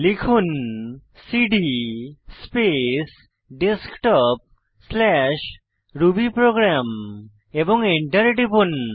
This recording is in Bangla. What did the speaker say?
লিখুন সিডি স্পেস desktopরুবিপ্রোগ্রাম এবং এন্টার টিপুন